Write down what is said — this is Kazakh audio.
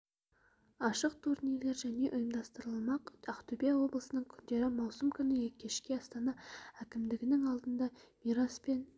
ашық турнирлер және ұйымдастырылмақ ақтөбе облысының күндері маусым күні кешке астана әкімдігінің алдында мирас пен